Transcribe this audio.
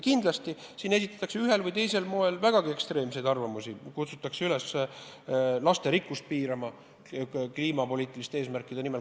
Kindlasti selle kohta esitatakse ühel või teisel moel vägagi ekstreemseid arvamusi, näiteks kutsutakse üles lasterikkust piirama kliimapoliitiliste eesmärkide nimel.